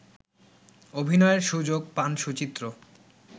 অভিনয়ের সুযোগ পান সুচিত্র